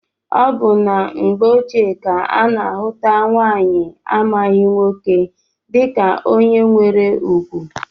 Ọ bụ na mgbe ochie ka a na-ahụta nwaanyị amaghị nwoke dịka onye nwere ugwu